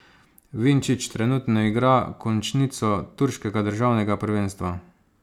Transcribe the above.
Vinčić trenutno igra končnico turškega državnega prvenstva.